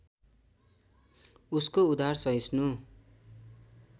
उसको उदार सहिष्णु